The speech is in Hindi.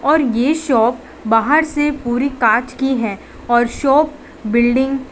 और ये शॉप बाहर से पूरी कांच की है और शॉप बिल्डिंग --